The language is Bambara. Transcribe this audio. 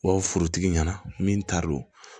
B'a fɔ forotigi ɲɛna min taar'o